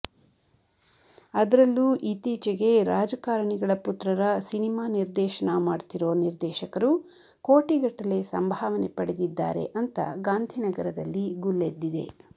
ಅದ್ರಲ್ಲೂ ಇತ್ತೀಚೆಗೆ ರಾಜಕಾರಿಣಿಗಳ ಪುತ್ರರ ಸಿನಿಮಾ ನಿರ್ದೇಶನ ಮಾಡ್ತಿರೋ ನಿರ್ದೇಶಕರು ಕೋಟಿಗಟ್ಟಲೆ ಸಂಭಾವನೆ ಪಡೆದಿದ್ದಾರೆ ಅಂತ ಗಾಂಧಿನಗರದಲ್ಲಿ ಗುಲ್ಲೆದ್ದಿದೆ